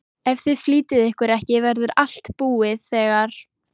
Ef þið flýtið ykkur ekki verður allt búið þegar